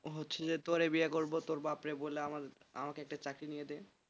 হচ্ছে যে তোরে বিয়ে করবো তোকে তোর বাপরে বলে আমাকে একটা চাকরি দিয়ে দে